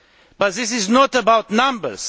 But this is not about numbers.